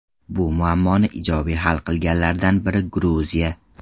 Bu muammoni ijobiy hal qilganlardan biri Gruziya.